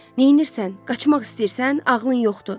"Neynirsən? Qaçmaq istəyirsən? Ağlın yoxdur!"